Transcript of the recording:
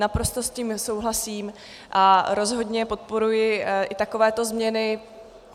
Naprosto s tím souhlasím a rozhodně podporuji i takovéto změny.